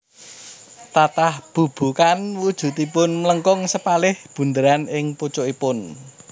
Tatah bubukan wujudipun mlengkung sepalih bunderan ing pucukipun